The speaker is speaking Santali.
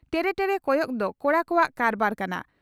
ᱴᱮᱨᱮ ᱴᱮᱨᱮ ᱠᱚᱭᱚᱜ ᱫᱚ ᱠᱚᱲᱟ ᱠᱚᱣᱟᱜ ᱠᱟᱨᱵᱟᱨ ᱠᱟᱱᱟ ᱾